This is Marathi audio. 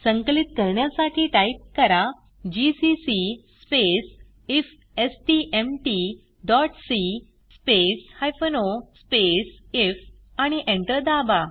संकलित करण्यासाठी टाईप करा GCC space IFSTMT dot C space o space IF आणि एंटर दाबा